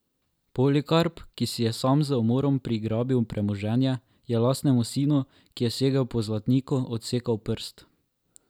Polikarp, ki si je sam z umorom prigrabil premoženje, je lastnemu sinu, ki je segel po zlatniku, odsekal prst.